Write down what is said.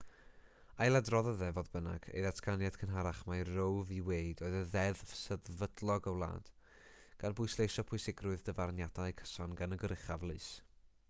ailadroddodd e fodd bynnag ei ddatganiad cynharach mai roe v wade oedd deddf sefydlog y wlad gan bwysleisio pwysigrwydd dyfarniadau cyson gan y goruchaf lys